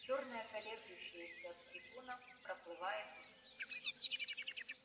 чёрная колеблющаяся трибуна проплывает мимо